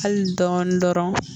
Hali dɔɔnin dɔrɔn